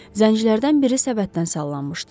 Zəncilərdən biri səbətdən sallanmışdı.